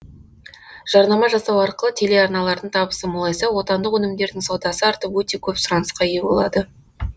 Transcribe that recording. жарнама жасау арқылы телеарналардың табысы молайса отандық өнімдердің саудасы артып өте көп сұранысқа ие болады